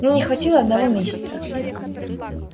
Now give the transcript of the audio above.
мне не хватило одного месяца